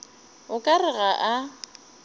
o ka re ga a